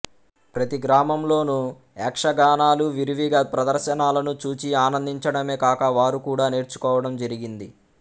ప్రతి గ్రామంలోనూ యక్షగానాలు విరివిగా ప్రదర్శనాలను చూచి ఆనందించడమే కాక వారు కూడ నేర్చుకోవడం జరిగింది